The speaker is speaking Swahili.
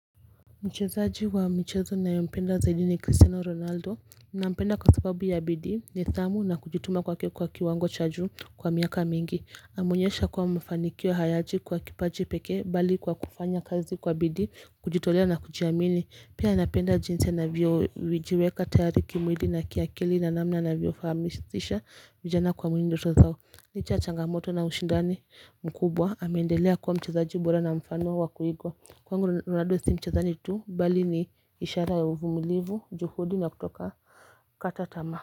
Mchezaji wa mchezo ninayempenda zaidi ni Cristiano Ronaldo. Nampenda kwa sababu ya bidii yake, nidhamu na kujituma kwa kiwango cha juu kwa miaka mingi. Ameonyesha kwa mfano kuwa mafanikio hayaji kwa kipaji pekee, bali kwa kufanya kazi kwa bidii, kujitolea na kujiamini. Pia napenda jinsi anavyojiweka tayari kimwili na kiakili, na namna anavyowahamasisha vijana kwa mafunzo yao, licha ya changamoto na ushindani. Mkubwa ameendelea kuwa mchezaji bora na mfano wa kuigwa kwangu na hata wengine. Si mchezaji tu, bali ni ishara ya uvumilivu, juhudi na kutoka katika tamaa.